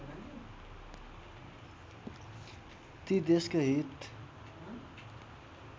ती देशको हित